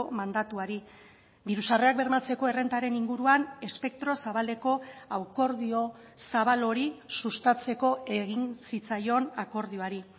mandatuari diru sarrerak bermatzeko errentaren inguruan espektro zabaleko akordio zabal hori sustatzeko egin zitzaion akordioari